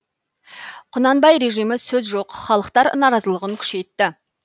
құнанбай режимі сөз жоқ халықтар наразылығын күшейтті